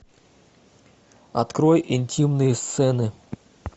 открой интимные сцены